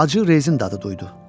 Acı rezin dadı duydu.